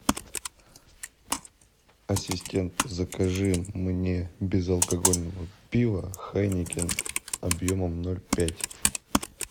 ассистент закажи мне безалкогольного пива хайнекен объемом ноль пять